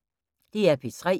DR P3